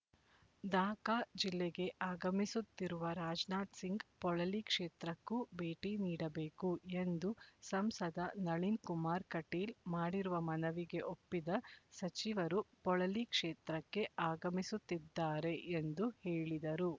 ದಕ ಜಿಲ್ಲೆಗೆ ಆಗಮಿಸುತ್ತಿರುವ ರಾಜನಾಥ್ ಸಿಂಗ್ ಪೊಳಲಿ ಕ್ಷೇತ್ರಕ್ಕೂ ಭೇಟಿ ನೀಡಬೇಕು ಎಂದು ಸಂಸದ ನಳಿನ್ ಕುಮಾರ್ ಕಟೀಲ್ ಮಾಡಿರುವ ಮನವಿಗೆ ಒಪ್ಪಿದ ಸಚಿವರು ಪೊಳಲಿ ಕ್ಷೇತ್ರಕ್ಕೆ ಆಗಮಿಸುತ್ತಿದ್ದಾರೆ ಎಂದು ಹೇಳಿದರು